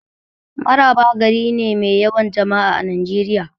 Mararaba gari ne mai yawan jama'a a Najeriya.